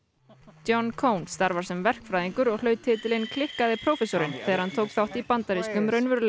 John starfar sem verkfræðingur og hlaut titilinn klikkaði prófessorinn þegar hann tók þátt í bandarískum